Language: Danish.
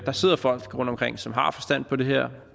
der sidder folk rundtomkring som har forstand på det her